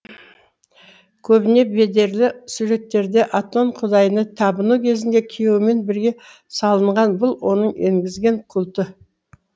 көбіне бедерлі суреттерде атон құдайына табыну кезінде күйеуімен бірге салынған бұл оның енгізген культі